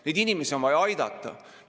Neid inimesi on vaja aidata.